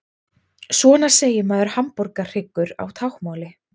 Svona segir maður hamborgarhryggur á táknmáli.